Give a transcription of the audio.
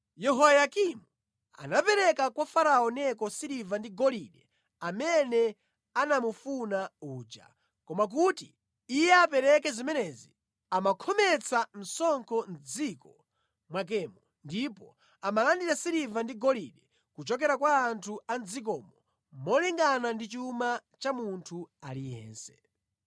Yehoyakimu anapereka kwa Farao Neko siliva ndi golide amene anamufuna uja. Koma kuti iye apereke zimenezi, amankhometsa msonkho mʼdziko mwakemo ndipo amalandira siliva ndi golide kuchokera kwa anthu a mʼdzikomo molingana ndi chuma cha munthu aliyense.